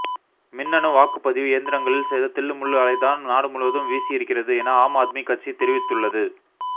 மின்னணு வாக்குப்பதிவு எந்திரங்களில் செய்த தில்லுமுல்லு அலைதான் நாடுமுழுவதும் வீசி இருக்கிறது என ஆம் ஆத்மிகட்சி தெரிவித்துள்ளது